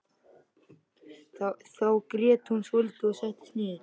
Þá grét hún svolítið og settist niður.